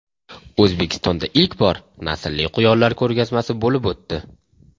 O‘zbekistonda ilk bor naslli quyonlar ko‘rgazmasi bo‘lib o‘tdi.